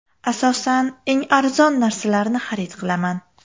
Asosan eng arzon narsalarni xarid qilaman.